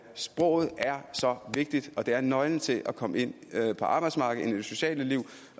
sproget er så vigtigt og det er nøglen til at komme ind på arbejdsmarkedet ind i det sociale liv